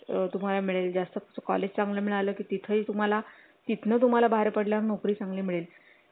अ जास्त college चांगल मिळालं तिथे तुम्हाला तिथून तुम्हाला बाहेर पडल्या नोकरी चांगली मिळेल